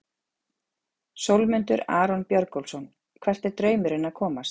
Sólmundur Aron Björgólfsson Hvert er draumurinn að komast?